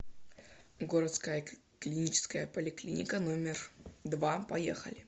городская клиническая поликлиника номер два поехали